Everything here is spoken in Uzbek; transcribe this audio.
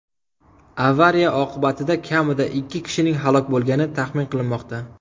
Avariya oqibatida kamida ikki kishining halok bo‘lgani taxmin qilinmoqda .